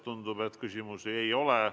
Tundub, et küsimusi ei ole.